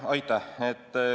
Aitäh!